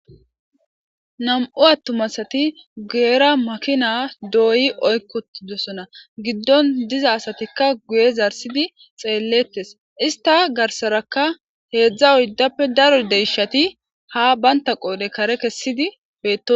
Nam'u attuma asati guyera makina doyi oyki uttidosona Gideon diza asatika guye zarsidi xeeletes ista garsaraka hezha oydappe daro deyshati ha banta qodhe kare kesidi beetosona